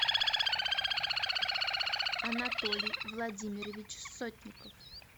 анатолий владимирович сотников